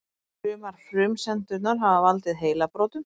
Sumar frumsendurnar hafa valdið heilabrotum.